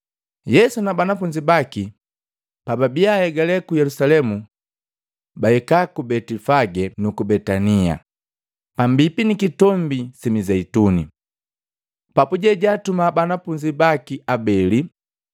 Yesu na banafunzi baki, pababia ahegale ku Yelusalemu bahika ku Betifage nuku Betania, pambipi ni Kitombi si Mizeituni. Papuje jaatuma banafunzi baki abeli,